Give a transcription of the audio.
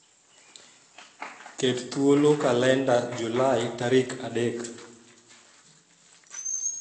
ket thuolo kalenda Julai tarik adek